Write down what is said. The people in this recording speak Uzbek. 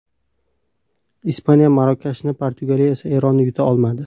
Ispaniya Marokashni, Portugaliya esa Eronni yuta olmadi.